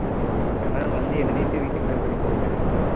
வேணும்னா வந்து எழுதிட்டு வீட்டுக்கு போய் மறுபடி தூங்கிட வேண்டியது தான்